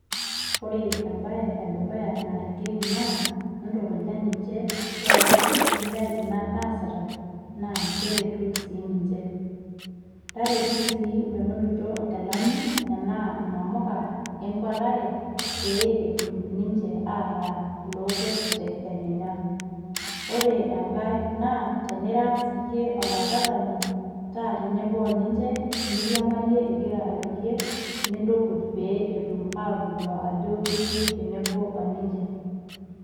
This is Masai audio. Ore ebae edukuya naretieti naa, entukuja ninche entiaki kaisidai ina naasita, na keretu si ninche. Taretu si menotito inkilani, enaa inamuka enkwatare, pe etum ninche ataa ilokwet tedekenya. Ore enkae naa, tenira siyie olakwatani, taa tenebo oninche, niriamarie igira airorie, nintukuj pe etum atodua ajo itii tenebo oninche.